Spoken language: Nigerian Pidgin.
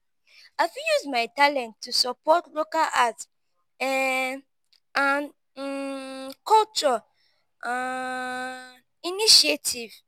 i fit use my talents to support local arts um and um culture um initiatives.